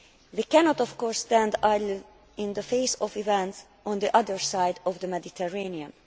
We cannot of course stand idle in the face of events on the other side of the Mediterranean.